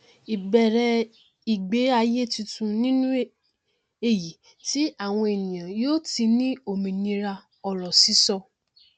ìbẹrẹ ìgbé ayé titun nínú èyí tí àwọn ènìyàn yóò ti ní òmìnira òrọ sísọ